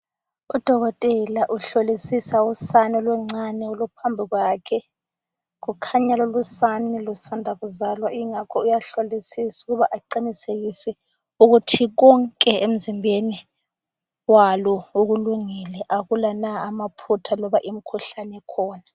Udokotela uhlolisisa usane oluncane oluphambi kwakhe. Kukhanya lolusane lusanda kuzalwa ingakho uyahlolisisa ukuba aqinisekise ukuthi konke emzimbeni walo kulungile akula amaphutha kumbe imikhuhlane ekhona.